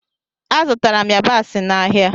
Azụtara m yabasị n'ahịa.